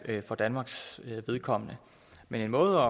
for danmarks vedkommende men en måde